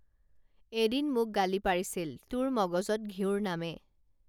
এদিন মোক গালি পাৰিছিল তোৰ মগজত ঘিঁউৰ নামে